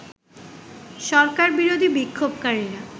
সরকারবিরোধী বিক্ষোভকারীরা